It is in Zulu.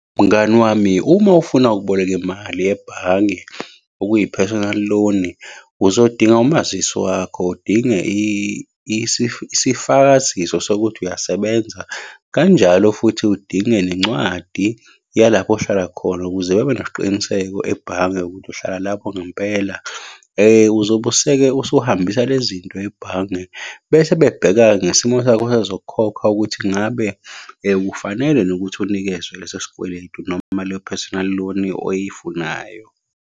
Mngani wami, uma ufuna ukuboleka imali ebhange okuyi-personal loan, uzodinga umazisi wakho, udinge isifakaziso sokuthi uyasebenza, kanjalo futhi udinge nencwadi yalapho ohlala khona ukuze babe nesiqiniseko ebhange ukuthi uhlala lapho ngempela. Uzobe useke usuhambisa le zinto ebhange, bese bebheka-ke ngesimo sakho sezokukhokha ukuthi ngabe ufanelwe yini ukuthi unikezwe leso sikweletu noma leyo personal loan oyifunayo.